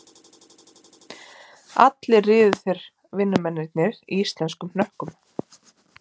Allir riðu þeir vinnumennirnir í íslenskum hnökkum